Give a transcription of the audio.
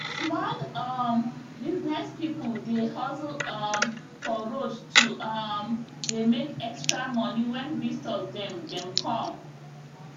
small um business people dey hustle um for road to um dey make extra money when visitors dem dem come